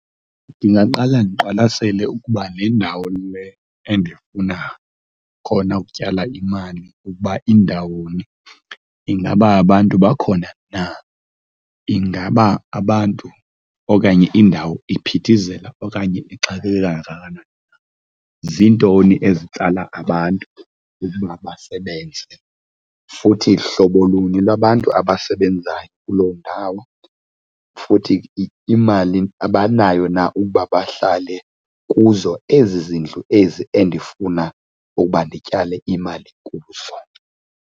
Ndingaqala ndiqwalasele ukuba le ndawo le endifuna khona ukutyala imali ukuba indawoni. Ingaba abantu bakhona na? Ingaba abantu okanye indawo iphithizela okanye ixakeke kangakanani na? Ziintoni ezitsala abantu ukuba basebenze futhi hlobo luni lwabantu abasebenzayo kuloo ndawo? Futhi imali abanayo na ukuba bahlale kuzo ezi zindlu ezi endifuna ukuba ndityale imali kuzo?